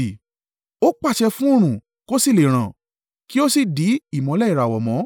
Ó pàṣẹ fún oòrùn kò sì le è ràn, kí ó sì dí ìmọ́lẹ̀ ìràwọ̀ mọ́.